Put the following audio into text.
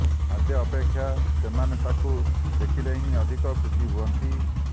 ଖାଦ୍ୟ ଅପେକ୍ଷା ସେମାନେ ତାଙ୍କୁ ଦେଖିଲେ ହିଁ ଅଧିକ ଖୁସି ହୁଅନ୍ତି